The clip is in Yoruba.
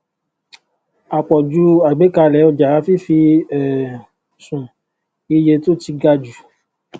àpòjù àgbékalè ọjà fífi um sun iye tó ti ga jù